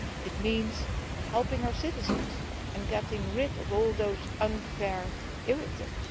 It means helping our citizens, and getting rid of all those unfair irritants.